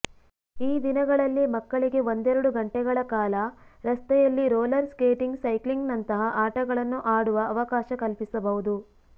ಈ ದಿನಗಳಲ್ಲಿ ಮಕ್ಕಳಿಗೆ ಒಂದೆರಡು ಗಂಟೆಗಳ ಕಾಲ ರಸ್ತೆಯಲ್ಲಿ ರೋಲರ್ ಸ್ಕೇಟಿಂಗ್ ಸೈಕ್ಲಿಂಗ್ನಂತಹ ಆಟಗಳನ್ನು ಆಡುವ ಅವಕಾಶ ಕಲ್ಪಿಸಬಹುದು